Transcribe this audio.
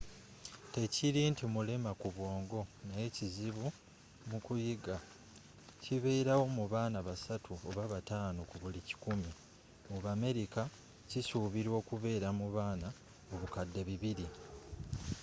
tekiri nti mulema ku bwongo naye kizibu mu kuyiga kibeerawo mu baana basatu oba batano ku buli kikumi mu bamerika kisubirwa okubeera mu baana obukadde bubiri